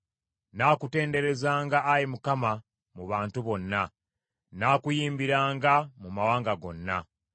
Nnaakutenderezanga, Ayi Mukama , mu bantu bonna, nnaakuyimbiranga mu mawanga gonna.